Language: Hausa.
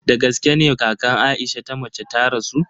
Dagaske ne kakan Aisha ta mace ta rasu?